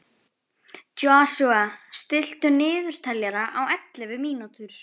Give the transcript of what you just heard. Joshua, stilltu niðurteljara á ellefu mínútur.